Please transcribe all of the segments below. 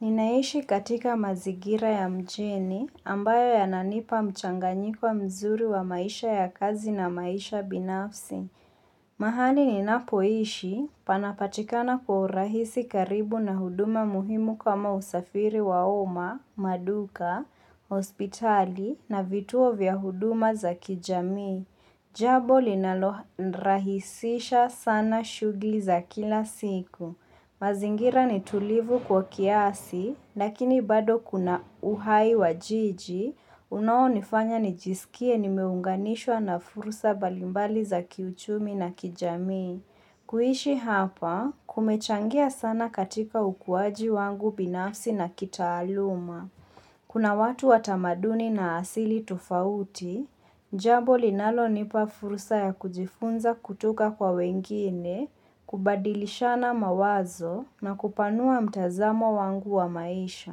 Ninaishi katika mazingira ya mjini ambayo yananipa mchanganyiko mzuri wa maisha ya kazi na maisha binafsi. Mahali ninapoishi panapatikana kwa urahisi karibu na huduma muhimu kama usafiri wa umma, maduka, hospitali na vituo vya huduma za kijamii. Jambo linalorahisisha sana shughuli za kila siku. Mazingira ni tulivu kwa kiasi, lakini bado kuna uhai wa jiji, unaonifanya nijisikie nimeunganishwa na fursa mbalimbali za kiuchumi na kijamii. Kuishi hapa, kumechangia sana katika ukuwaji wangu binafsi na kitaaluma. Kuna watu watamaduni na asili tofauti, jambo linalonipa fursa ya kujifunza kutoka kwa wengine, kubadilishana mawazo na kupanua mtazamo wangu wa maisha.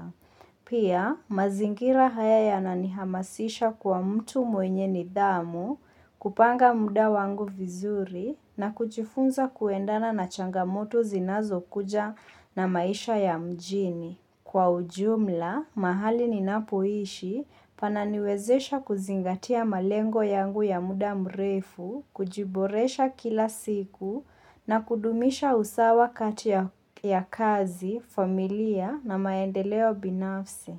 Pia, mazingira haya yananihamasisha kwa mtu mwenye nidhamu, kupanga muda wangu vizuri na kujifunza kuendana na changamoto zinazo kuja na maisha ya mjini. Kwa ujumla, mahali ninapoishi pananiwezesha kuzingatia malengo yangu ya muda mrefu, kujiboresha kila siku na kudumisha usawa kati ya kazi, familia na maendeleo binafsi.